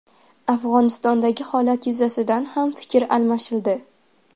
Afg‘onistondagi holat yuzasidan ham fikr almashildi.